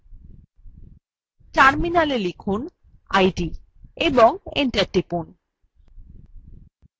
terminalএ লিখুন id এবং enter টিপুন